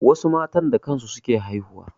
Wasu matan da kan su suke haihuwa.